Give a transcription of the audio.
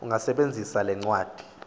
ungasebenzisa le ncwadi